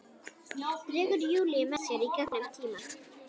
Dregur Júlíu með sér gegnum tímann.